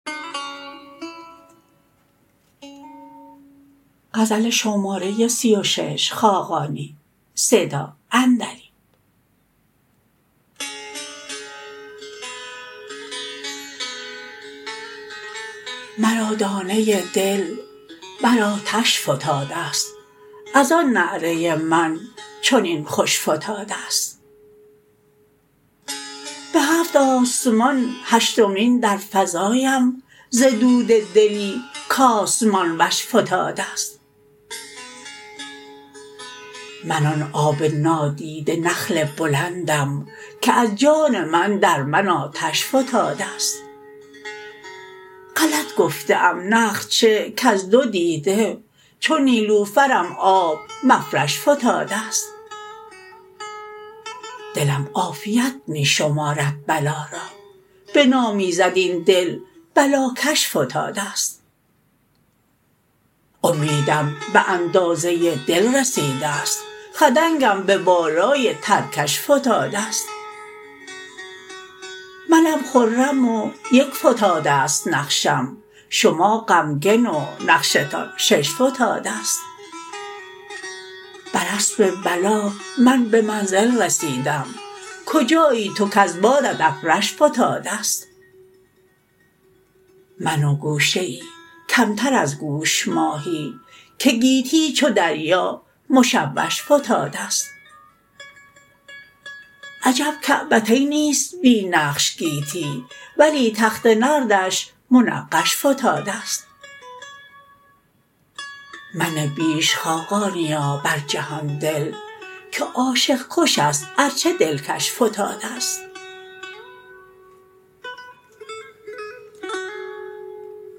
مرا دانه دل بر آتش فتاده است از آن نعره من چنین خوش فتاده است به هفت آسمان هشتمین درفزایم ز دود دلی کآسمان وش فتاده است من آن آب نادیده نخل بلندم که از جان من در من آتش فتاده است غلط گفته ام نخل چه کز دو دیده چو نیلوفرم آب مفرش فتاده است دلم عافیت می شمارد بلا را به نام ایزد این دل بلاکش فتاده است امیدم به اندازه دل رسیده است خدنگم به بالای ترکش فتاده است منم خرم و یک فتاده است نقشم شما غمگن و نقشتان شش فتاده است بر اسب بلا من به منزل رسیدم کجایی تو کز بادت ابرش فتاده است من و گوشه ای کمتر از گوش ماهی که گیتی چو دریا مشوش فتاده است عجب کعبتینی است بی نقش گیتی ولی تخت نردش منقش فتاده است منه بیش خاقانیا بر جهان دل که عاشق کش است ارچه دلکش فتاده است